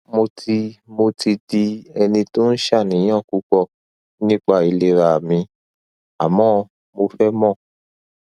mo ti mo ti di ẹni tó ń ṣaàníyàn púpọ nípa ìlera mi àmọ mo fẹ mọ